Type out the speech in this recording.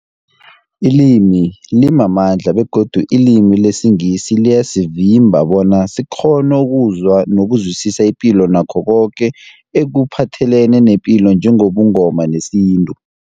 Ilimi limamandla begodu ilimi lesiNgisi liyasivimba bona sikghone ukuzwa nokuzwisisa ipilo nakho koke ekuphathelene nepilo njengobuNgoma nesintu.